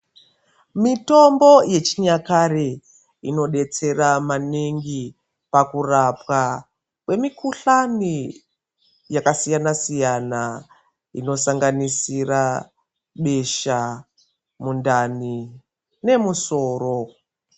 Mitombo yechinyakare inodetsera maningi pakurapwa kwemikuhlani yakasiyana-siyana inosanganisira besha, mundani nemusoro.